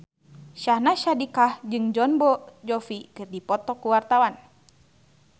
Syahnaz Sadiqah jeung Jon Bon Jovi keur dipoto ku wartawan